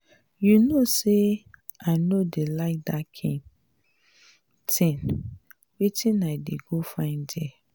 you no say i no dey like dat kin thing.wetin i dey go find there?